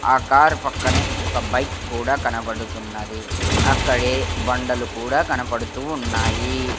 ఆ కార్ పక్కనే ఒక బైక్ కూడా కనపడుతున్నది అక్కడే బండలు కూడా కనపడుతూ ఉన్నాయి.